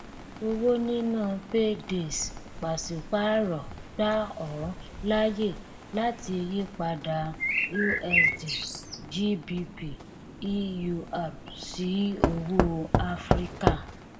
owó níná paydays pàṣípàrọ gbà ọ láyè láti yípadà usd gbp eur sí owó áfíríkà